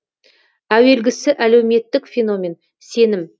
әуелгісі әлеуметтік феномен сенім